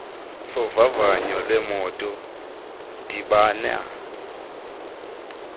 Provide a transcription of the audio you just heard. sovavanyo lwemoto dibana